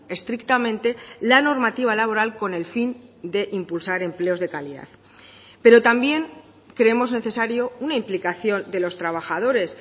estrictamente la normativa laboral con el fin de impulsar empleos de calidad pero también creemos necesario una implicación de los trabajadores